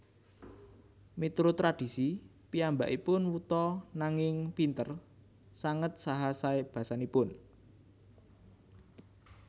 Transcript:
Miturut tradhisi piyambakipun wuta nanging pinter sanget saha saé basanipun